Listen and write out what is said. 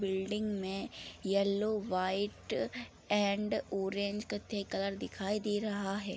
Building में yellow white and orange कत्थई colour दिखाई दे रहा है।